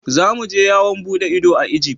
za mu je yawon bude ido a Egypt.